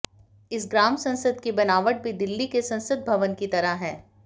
इस ग्राम संसद की बनावट भी दिल्ली के संसद भवन की तरह है